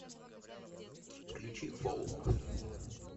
включи фолк